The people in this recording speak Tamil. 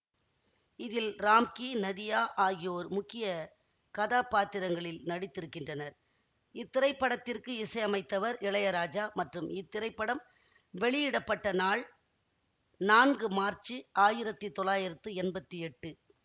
இதில் ராம்கி நதியா ஆகியோர் முக்கிய கதாபாத்திரங்களில் நடித்திருக்கின்றனர் இத்திரைப்படத்திற்கு இசையமைத்தவர் இளையராஜா மற்றும் இத்திரைப்படம் வெளியிட பட்ட நாள் நான்கு மார்ச்சு ஆயிரத்தி தொள்ளாயிரத்தி எம்பத்தி எட்டு